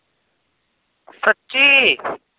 ਸੱਚੀ।